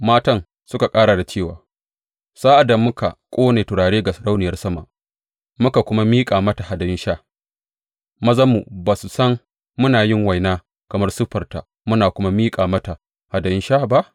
Matan suka ƙara da cewa, Sa’ad da muka ƙone turare ga Sarauniyar Sama muka kuma miƙa mata hadayun sha, mazanmu ba su san muna yin waina kamar siffarta muna kuma miƙa mata hadayun sha ba?